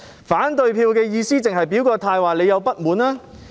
反對票的意義是否用來表達自己的不滿？